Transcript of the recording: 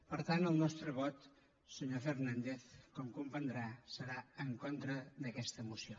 per tant el nostre vot senyor fernández com comprendrà serà en contra d’aquesta moció